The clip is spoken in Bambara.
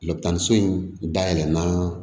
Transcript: Lakɔtanso in da yɛlɛ na